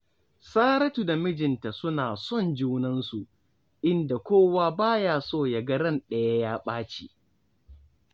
Saratu da mijinta suna son junansu, inda kowa ba ya so ya ga ran ɗaya ya ɓaci